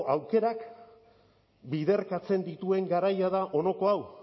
aukerak biderkatzen dituen garaia da honako hau